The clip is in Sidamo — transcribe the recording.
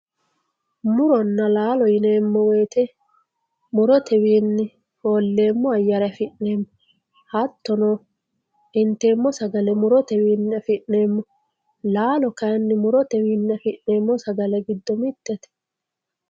Muronna laalo yineemo woyite, murotewinni fooleemo ayyeere afi'neemo hatono inteemo sagale murotewinni afi'neemo, laalo kayinni murotewinni afi'neemo sagale gido mitete.